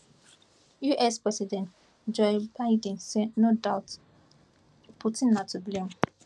us president joe biden say no doubt putin na to blame